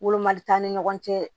Wolomali t'an ni ɲɔgɔn cɛ